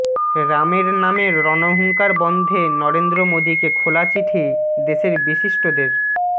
রামের নামে রণহুঙ্কার বন্ধে নরেন্দ্র মোদীকে খোলা চিঠি দেশের বিশিষ্টদের